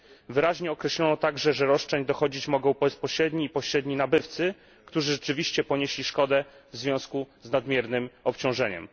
Wyraźnie określono także, że roszczeń dochodzić mogą bezpośredni i pośredni nabywcy, którzy rzeczywiście ponieśli szkodę w związku z nadmiernym obciążeniem.